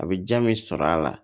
A bɛ ja min sɔrɔ a la